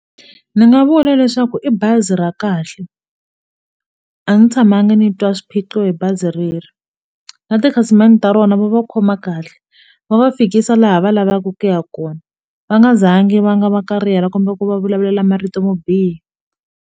Ndzi nga vula leswaku i bazi ra kahle a ndzi tshamangi ndzi twa swiphiqo hi bazi rero na tikhasimende ta rona va va khoma kahle va va fikisa laha va lavaka ku ya kona va nga zangi va nga va ka rero kumbe ku va vulavulela marito mo biha.